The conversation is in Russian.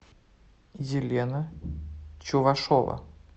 елена чувашова